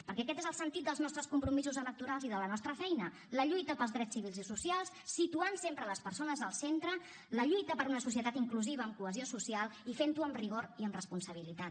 perquè aquest és el sentit dels nostres compromisos electorals i de la nostra feina la lluita pels drets civils i socials situant sempre les persones al centre la lluita per una societat inclusiva amb cohesió social i fent ho amb rigor i amb responsabilitat